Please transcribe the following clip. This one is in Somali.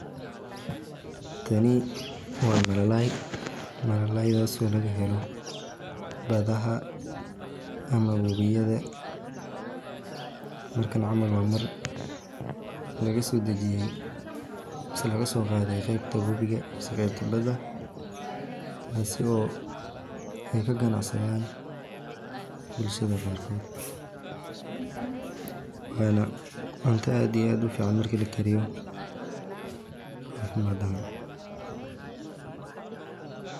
Tani waa malalay oo laga helo badaha aama wabiga waa mar laga soo qaade qeebta bada oo lagu ganacsado waana cunta fican marki lakariyo.